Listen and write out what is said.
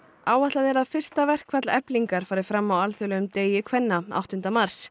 áætlað er að verkfall Eflingar fari fram á alþjóðlegum degi kvenna áttunda mars